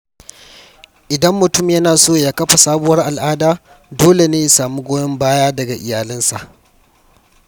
Idan mutum yana so ya kafa sabuwar al’ada, dole ne ya samu goyon bayan daga iyalinsa